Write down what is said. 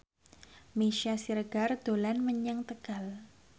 Meisya Siregar dolan menyang Tegal